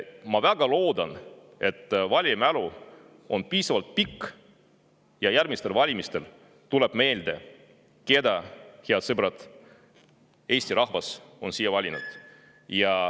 Ma väga loodan, et valija mälu on piisavalt pikk ja järgmistel valimistel tuleb meelde, keda, head sõbrad, Eesti rahvas on siia valinud.